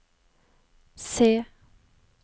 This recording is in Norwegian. C